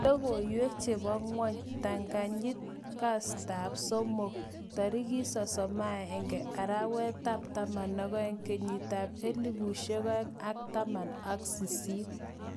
Logoiwek chebo ngwony ptang' anyit. kastab somok 31.12.2018.